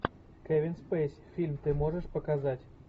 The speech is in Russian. кевин спейси фильм ты можешь показать